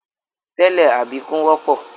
Tẹ́lẹ̀, àbíkú wọ́pọ̀.